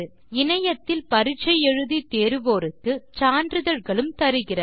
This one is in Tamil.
இணையத்தில் பரிட்சை எழுதி தேர்வோருக்கு சான்றிதழ்களும் தருகிறது